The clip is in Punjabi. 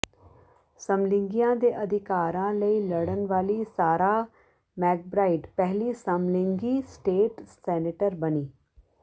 ਸਮਲਿੰਗੀਆਂ ਦੇ ਅਧਿਕਾਰਾਂ ਲਈ ਲੜਨ ਵਾਲੀ ਸਾਰਾਹ ਮੈਕਬ੍ਰਾਈਡ ਪਹਿਲੀ ਸਮਲਿੰਗੀ ਸਟੇਟ ਸੈਨੇਟਰ ਬਣੀ